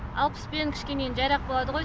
алпыспен кішкене енді жайырақ болады ғой